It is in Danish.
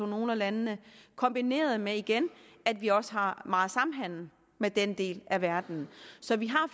nogle af landene kombineret med igen at vi også har meget samhandel med den del af verden så vi har